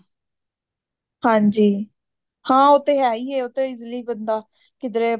ਹਾਂਜੀ ਉਹ ਤਾਂ ਹੈ ਹੀ ਹੈ easily ਬੰਦਾ ਕਿੱਧਰੇ